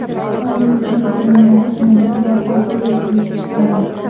Ularning so‘nggi o‘yinlarini yana bir bor tahlil qilib chiqamiz.